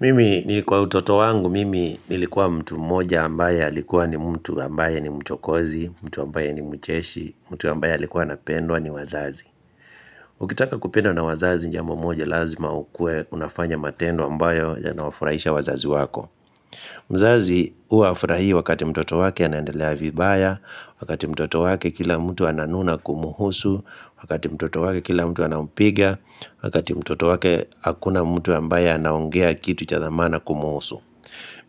Mimi nilikuwa utoto wangu, mimi nilikuwa mtu mmoja ambaye alikuwa ni mtu ambaye ni mchokozi, mtu ambaye ni mcheshi, mtu ambaye alikuwa anapendwa ni wazazi. Ukitaka kupendwa na wazazi jambo moja lazima ukue unafanya matendo ambayo ya naafurahisha wazazi wako. Mzazi uwa hafurahi wakati mtoto wake anaendelea vibaya, wakati mtoto wake kila mtu ananuna kumuhusu, wakati mtoto wake kila mtu anampiga, wakati mtoto wake hakuna mtu ambaye naongea kitu cha thamana kumhusu.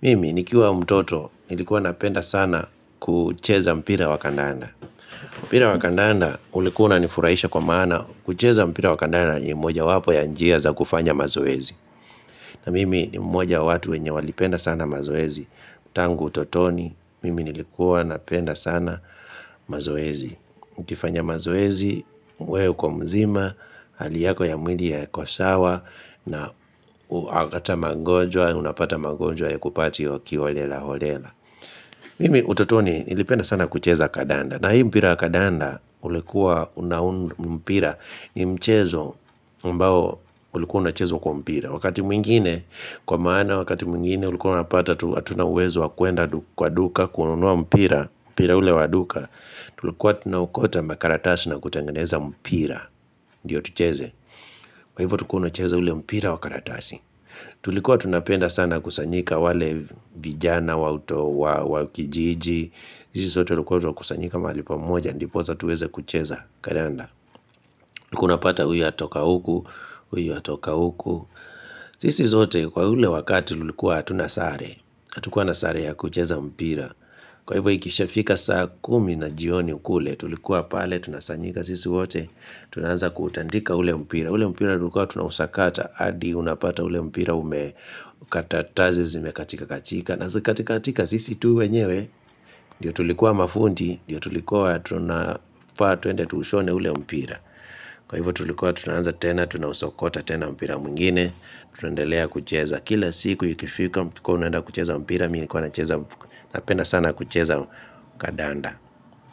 Mimi nikiwa mtoto nilikuwa napenda sana kucheza mpira wa kandanda. Mpira wa kandanda ulikuwa unanifurahisha kwa maana kucheza mpira wakandanda ni moja wapo ya njia za kufanya mazoezi. Na mimi ni mmoja watu wenye walipenda sana mazoezi. Tangu utotoni mimi nilikuwa napenda sana mazoezi. Ukifanya mazoezi, we uko mzima, hali yako ya mwili yakosawa na hata magonjwa, unapata magonjwa hayakupati okiolelaolela Mimi utotoni nilipenda sana kucheza kadanda na hii mpira kadanda ulikuwa unaun mpira ni mchezo ambao ulikuwa unachezwa kwa mpira Wakati mwingine, kwa maana wakati mwingine ulikuuwa unapata hatuna uwezo wakuenda kwa duka kununua mpira, mpira ule waduka Tulikuwa tunaokota makaratasi na kutengeneza mpira Ndio tucheze Kwa hivyo tulikuwa tunacheza ule mpira wa karatasi Tulikuwa tunapenda sana kusanyika wale vijana wakijiji sisi sote tulikuwa tunakusanyika mahali pamoja Ndipoza tuweze kucheza kadanda ulikuwa unapata huyu atoka huku Huyu atoka huku sisi zote kwa ule wakati tulikuwa hatuna sare Atukuwa na sare ya kucheza mpira Kwa hivyo ikishafika saa kumi na jioni kule Tulikuwa pale, tunasanyika sisi wote Tunaanza kuutandika ule mpira ule mpira tulikua tunahusakata Adi unapata ule mpira ume Katatazi zime katika katika na zikikatika katika sisi tu wenyewe ndio tulikuwa mafundi ndio tulikuwa tunafaa tuende Tuushone ule mpira Kwa hivyo tulikuwa tunaanza tena Tunausakota tena mpira mwingine Tunaendelea kucheza Kila siku ikifika tulikuwa tunaenda kucheza mpira Mimi nilikuwa na penda sana kucheza kadanda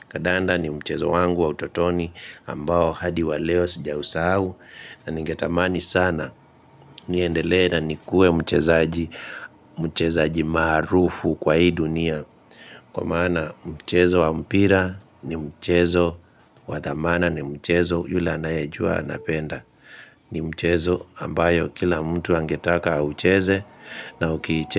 Kadanda ni mchezo wangu wa utotoni ambao hadi waleo sijausahu na ningetamani sana niendelee na nikuwe mchezaji maarufu kwa hii dunia Kwa maana mchezo wa mpira ni mchezo wa thamana ni mchezo yule anayejua anapenda ni mchezo ambayo kila mtu angetaka aucheze na ukiichez.